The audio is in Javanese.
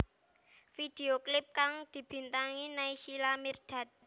Video klip kang dibintangi Naysila Mirdad